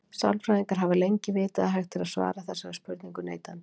Sálfræðingar hafa lengið vitað að hægt er að svara þessari spurningu neitandi.